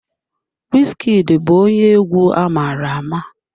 Wizkid bụ onye egwu amara ama.